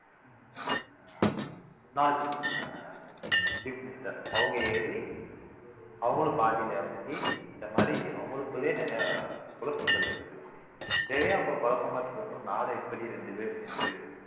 அஹ் முன்னாள் அஹ் chief minister அவங்க ஏறி அவங்களும் பாதியில இறங்கி இந்த மாதிரி அவங்களுக்குள்ளே நிறையா குழப்பங்கள் இருக்கு இதையே அவங்க குழப்பமா வெச்சுக்கும்போது நாடு எப்படி ரெண்டு பேர் சேர்ந்து